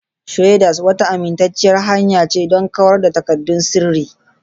Shredders wata amintacciyar hanya ce don kawar da takaddun sirri.